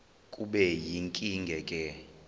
kube yinkinge ke